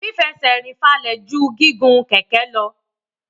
Fífẹsẹ̀rìn falẹ̀ ju gígun kẹ̀kẹ́ lọ.